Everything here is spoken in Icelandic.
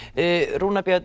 Rúnar Björn